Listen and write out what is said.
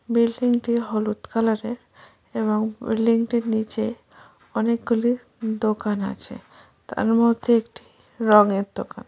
Building টি হলুদ কালারের এবং বিল্ডিং এর নিচে অনেকগুলি দোকান আছে তার মধ্যে একটি রঙের দোকান।